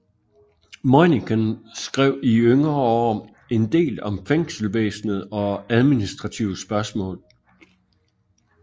Møinichen skrev i yngre år endel om fængselsvæsenet og administrative spørgsmål